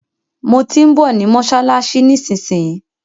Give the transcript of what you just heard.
Mo tí ń bọ̀ ní mọ́ṣáláṣí nísinsìnyí.